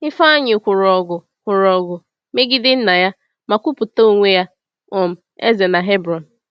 Ifeanyi kwụrụ ọgụ kwụrụ ọgụ megide nna ya ma kwupụta onwe ya um eze na Hebron.